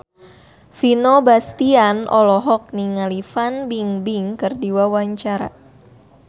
Vino Bastian olohok ningali Fan Bingbing keur diwawancara